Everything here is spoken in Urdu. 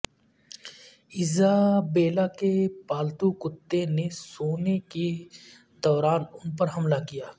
ایزابیلا کے پالتو کتے نے سونے کے دوران ان پر حملہ کیا